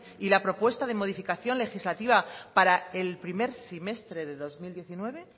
y la propuesta de modificación legislativa para el primer semestre de dos mil diecinueve